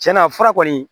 Tiɲɛna fura kɔni